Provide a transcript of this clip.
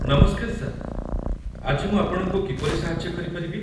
ନମସ୍କାର, ସାର୍। ଆଜି ମୁଁ ଆପଣଙ୍କୁ କିପରି ସାହାଯ୍ୟ କରିପାରିବି?